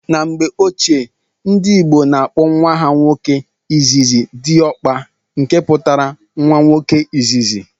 N'mgbe ochie ndị ìgbo na akpo nwa ha nwoke izizi "Diokpa", nke pụtara nwa nwoke izizi.